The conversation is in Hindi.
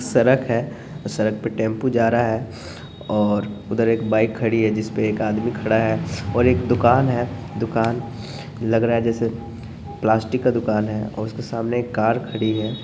सड़क है और सड़क पे टेम्पो जा रहा है और उधर एक बाइक खड़ी है जिसपे एक आदमी खड़ा है और एक दुकान है दुकान लग रहा है जैसे प्लास्टिक का दुकान है और उसके सामने एक कार खड़ी है।